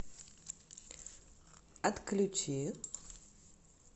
отключи